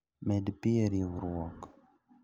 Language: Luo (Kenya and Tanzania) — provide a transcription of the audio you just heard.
Med pii e riurwok